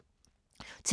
TV 2